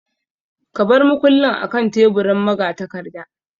Ka bar mukullin akan teburin magatakarda.